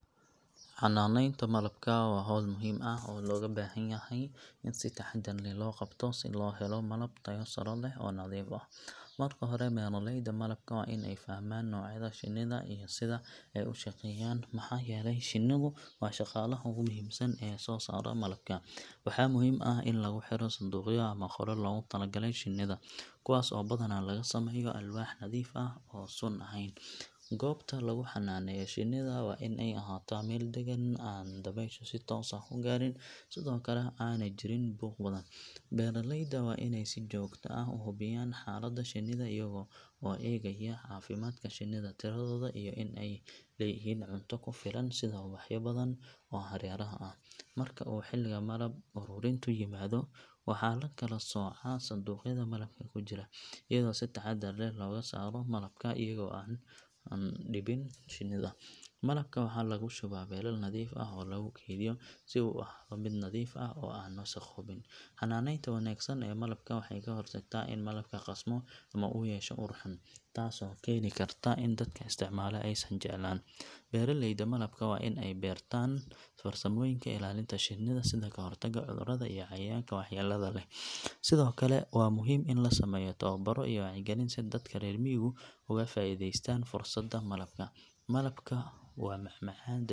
Xanaanaynta malabka waa hawl muhiim ah oo looga baahan yahay in si taxadar leh loo qabto si loo helo malab tayo sare leh oo nadiif ah. Marka hore, beeraleyda malabka waa in ay fahmaan noocyada shinnida iyo sida ay u shaqeeyaan, maxaa yeelay shinnidu waa shaqaalaha ugu muhiimsan ee soo saara malabka. Waxaa muhiim ah in lagu xiro sanduuqyo ama qolal loogu talagalay shinnida, kuwaas oo badanaa laga sameeyo alwaax nadiif ah oo aan sun ahayn. Goobta lagu xanaaneeyo shinnida waa in ay ahaataa meel deggan, aan dabayshu si toos ah u gaarin, sidoo kalena aanay jirin buuq badan. Beeraleyda waa inay si joogto ah u hubiyaan xaaladda shinnida, iyaga oo eegaya caafimaadka shinnida, tiradooda, iyo in ay leeyihiin cunto ku filan sida ubaxyo badan oo hareeraha ah. Marka uu xilliga malab ururintu yimaado, waxaa la kala soocaa sanduuqyada malabka ku jira, iyadoo si taxadar leh looga saaro malabka iyaga oo aan dhibin shinnida. Malabka waxaa lagu shubaa weelal nadiif ah oo lagu keydiyo si uu u ahaado mid nadiif ah oo aan wasakhoobin. Xanaanaynta wanaagsan ee malabka waxay ka hortagtaa in malabku qasmo ama uu yeesho ur xun, taasoo keeni karta in dadka isticmaala aysan jeclaan. Beeraleyda malabka waa in ay bartaan farsamooyinka ilaalinta shinnida sida ka hortagga cudurrada iyo cayayaanka waxyeellada leh. Sidoo kale, waa muhiim in la sameeyo tababarro iyo wacyigelin si dadka reer miyigu uga faa’iidaystaan fursadda malabka. Malabku waa macmacaan dabiici ah.